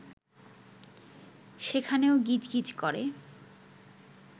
সেখানেও গিজ গিজ করে